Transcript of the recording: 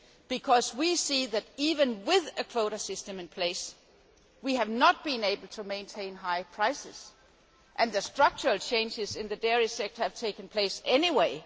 Because we see that even with a quota system in place, we have not been able to maintain high prices and the structural changes in the dairy sector have taken place anyway.